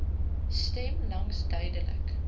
stem langs duidelik